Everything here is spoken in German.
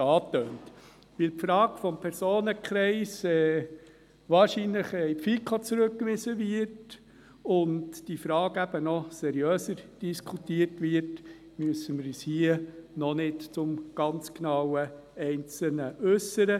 Weil die Frage des Personenkreises wahrscheinlich an die FiKo zurückgewiesen und noch seriöser diskutiert werden wird, müssen wir uns hier noch nicht genau im Einzelnen dazu äussern.